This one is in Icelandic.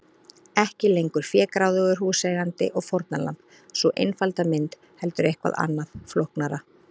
Ekki lengur fégráðugur húseigandi og fórnarlamb, sú einfalda mynd, heldur eitthvað annað, flóknara.